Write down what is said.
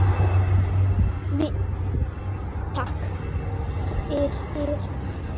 Takk fyrir!